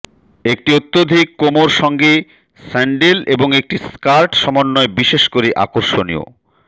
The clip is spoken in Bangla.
একটি অত্যধিক কোমর সঙ্গে স্যান্ডেল এবং একটি স্কার্ট সমন্বয় বিশেষ করে আকর্ষণীয়